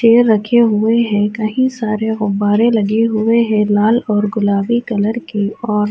چیر رکھے ہوئے ہے۔ کی سارے گببرے لگے ہوئے ہے لال اور گلابی کلر کے اور --